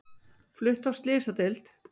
Flutt á slysadeild